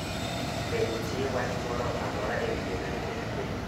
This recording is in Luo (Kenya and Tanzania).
Be nitie wach moro amora ewi bedo jatend piny